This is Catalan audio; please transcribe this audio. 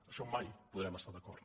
en això mai podrem estar d’acord